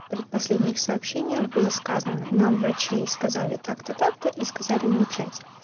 в предпоследних сообщениях было сказано нам врачи сказали так-то так-то и сказали молчать